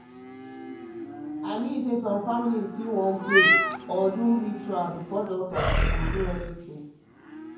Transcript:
i mean say some families fit wan pray um or do ritual before doctor do anything.